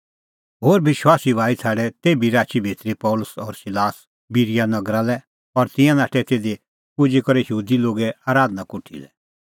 होरी विश्वासी भाई छ़ाडै तेभी राची भितरी पल़सी और सिलास बिरीया नगरी लै और तिंयां नाठै तिधी पुजी करै यहूदी लोगे आराधना कोठी लै